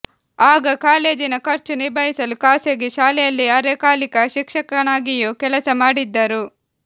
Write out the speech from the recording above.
ಆಗ ಕಾಲೇಜಿನ ಖರ್ಚು ನಿಭಾಯಿಸಲು ಖಾಸಗಿ ಶಾಲೆಯಲ್ಲಿ ಅರೆಕಾಲಿಕ ಶಿಕ್ಷಕನಾಗಿಯೂ ಕೆಲಸ ಮಾಡಿದ್ದರು